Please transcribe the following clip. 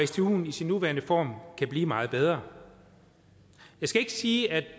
stuen i sin nuværende form kan blive meget bedre jeg skal ikke sige at